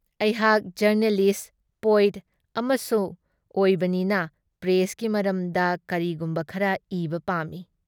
ꯑꯩꯍꯥꯛ ꯖꯔꯅꯦꯂꯤꯁꯠ-ꯄꯣꯏꯠ ꯑꯃꯁꯨ ꯑꯣꯏꯕꯅꯤꯅ ꯄ꯭ꯔꯦꯁꯀꯤ ꯃꯔꯝꯗ ꯀꯔꯤꯒꯨꯝꯕ ꯈꯔ ꯏꯕ ꯄꯥꯝꯃꯤ꯫